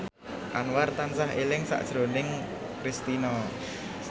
Anwar tansah eling sakjroning Kristina